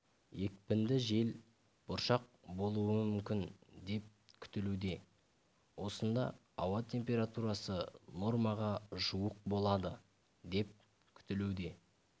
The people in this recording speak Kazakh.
екпінді жел бұршақ болуы мүмкін деп күтілуде осында ауа температурасы нормаға жуық болады деп күтілуде